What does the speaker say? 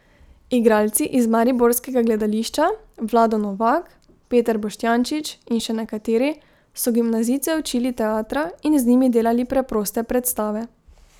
Igralci iz mariborskega gledališča, Vlado Novak, Peter Boštjančič in še nekateri, so gimnazijce učili teatra in z njimi delali preproste predstave.